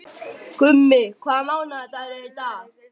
Gummi, hvaða mánaðardagur er í dag?